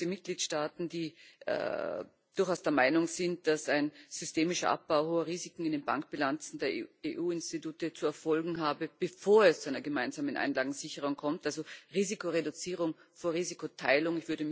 Aber es gibt große Mitgliedstaaten, die durchaus der Meinung sind, dass ein systemischer Abbau hoher Risiken in den Bankbilanzen der EU Institute zu erfolgen habe, bevor es zu einer gemeinsamen Einlagensicherung kommt also Risikoreduzierung vor Risikoteilung.